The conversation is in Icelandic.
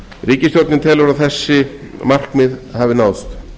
ríkisstjórnin telur að þessi markmið hafi náðst